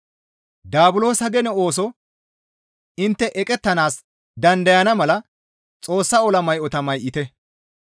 Daabulosa gene ooso intte eqettanaas dandayana mala Xoossaa ola may7ota may7ite.